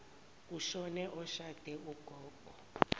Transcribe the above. kushone oshade ugogo